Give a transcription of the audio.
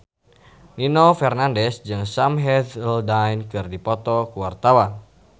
Nino Fernandez jeung Sam Hazeldine keur dipoto ku wartawan